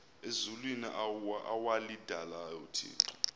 ezulwini awalidalayo uthixo